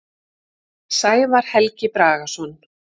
Sævar Helgi Bragason.